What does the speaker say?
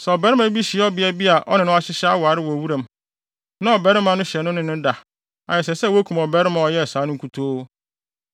Sɛ ɔbarima bi hyia ɔbea a obi ne no ahyehyɛ aware wɔ wuram, na ɔbarima no hyɛ no ne no da a, ɛsɛ sɛ wokum ɔbarima a ɔyɛɛ saa no nkutoo.